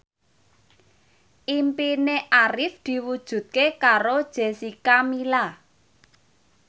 impine Arif diwujudke karo Jessica Milla